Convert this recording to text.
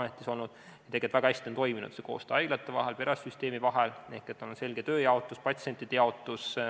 Tegelikult on väga hästi toiminud koostöö haiglate vahel, perearstisüsteemi vahel – on olnud selge tööjaotus ja patsientide jaotus.